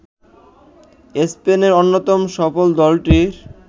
স্পেনের অন্যতম সফল দলটির